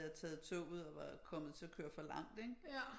Jeg taget toget og var kommet til at køre for langt ikke